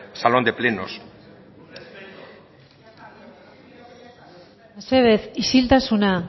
salón de plenos mesedez isiltasuna